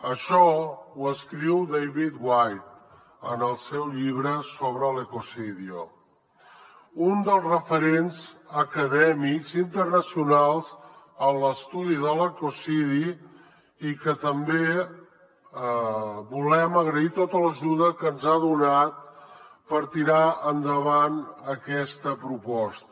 això ho escriu david whyte en el seu llibre ecocidio un dels referents acadèmics internacionals en l’estudi de l’ecocidi i a qui també volem agrair tota l’ajuda que ens ha donat per tirar endavant aquesta proposta